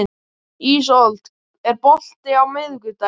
Ísold, er bolti á miðvikudaginn?